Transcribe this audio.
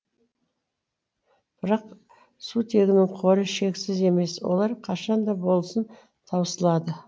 бірақ сутегінің қоры шексіз емес олар қашан да болсын таусылады